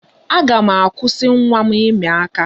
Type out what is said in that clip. Aga m akwụsị nwa m ịmị aka.